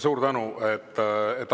Suur tänu!